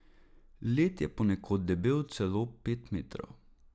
Led je ponekod debel celo pet metrov.